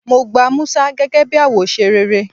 Mo gba Musa gege bi awose rere